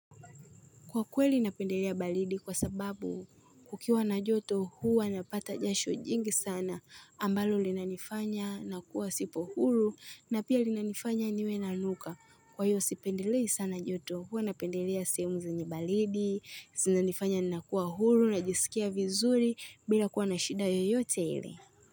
Kwa kweli napendelea baridi kwa sababu kukiwa na joto huwa napata jasho jingi sana ambalo linanifanya nakuwa sipo huru na pia linanifanya niwe nanuka. Kwa hiyo sipendelei sana joto huwa napendelea sehemu zenye baridi, zinanifanya nakuwa huru najisikia vizuri bila kuwa na shida yoyote ile.